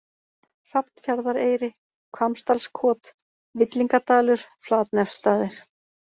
Hrafnfjarðareyri, Hvammsdalskot, Villingadalur, Flatnefsstaðir